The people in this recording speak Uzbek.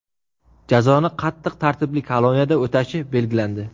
Jazoni qattiq tartibli koloniyada o‘tashi belgilandi.